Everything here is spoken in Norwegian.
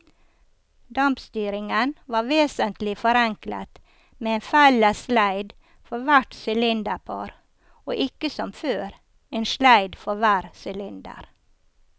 Dampstyringen var vesentlig forenklet med en felles sleid for hvert sylinderpar og ikke som før, en sleid for hver sylinder.